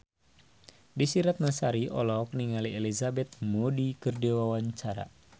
Desy Ratnasari olohok ningali Elizabeth Moody keur diwawancara